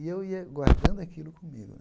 E eu ia guardando aquilo comigo né.